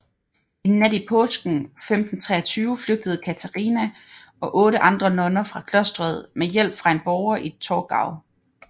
En nat i påsken 1523 flygtede Katharina og otte andre nonner fra klosteret med hjælp fra en borger i Torgau